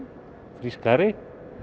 frískari